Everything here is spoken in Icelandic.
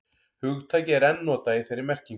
hugtakið er enn notað í þeirri merkingu